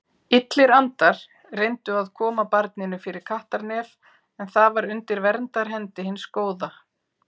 Illir andar reyndu að koma barninu fyrir kattarnef en það var undir verndarhendi hins góða.